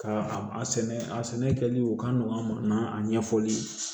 Ka a sɛnɛ a sɛnɛ kɛli o ka nɔgɔn an ɲɛfɔli ye